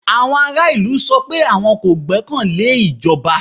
Àwọn ará ìlú sọ pé àwọn kò gbọ́kàn lé ìjọba.